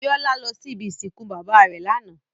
Biola lò si ibi isinkú baba rè làná